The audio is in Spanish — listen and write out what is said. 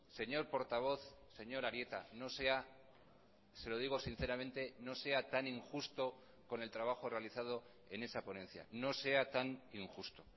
señor portavoz señor arieta no sea se lo digo sinceramente no sea tan injusto con el trabajo realizado en esa ponencia no sea tan injusto